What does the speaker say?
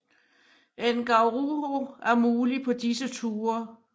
Ngauruhoe er mulige på disse ture